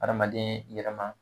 Adamaden yɛrɛma